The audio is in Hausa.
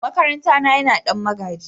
makaranta na Yana Dan magaji.